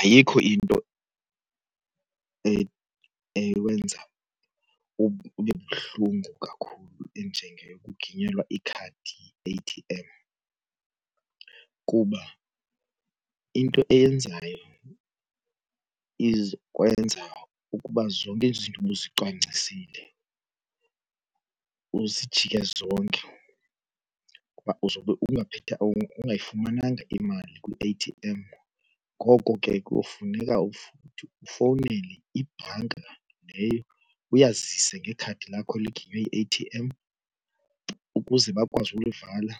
Ayikho into ewenza ube buhlungu kakhulu njengaleyo yokuginyelwa ikhadi yi-A_T_M kuba into eyenzayo izokwenza ukuba zonke izinto ubuzicwangcisile zijike zonke kuba uzobe ungayifumananga imali kwi-A_T_M. Ngoko ke kuyofuneka futhi ufowunele ibhanka leyo uyazise ngekhadi lakho liginyiwe yi-A_T_M ukuze bakwazi ukulivala.